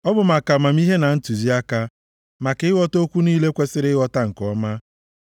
Ọ bụ maka amamihe na ntụziaka, maka ịghọta okwu niile kwesiri ịghọta nke ọma,